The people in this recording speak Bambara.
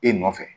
E nɔfɛ